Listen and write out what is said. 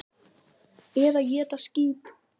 Eða éta skít!